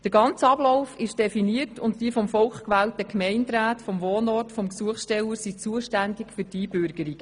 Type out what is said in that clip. Der ganze Ablauf ist definiert und die vom Volk gewählten Gemeinderäte am Wohnort des Gesuchstellers sind zuständig für die Einbürgerung.